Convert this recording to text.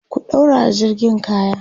ku ɗaurawa jirgin kaya!